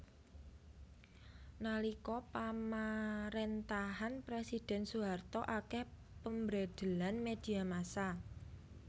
Nalika pamarentahan presiden Soeharto akeh pembreidelan media massa